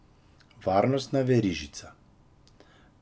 Varnostna verižica.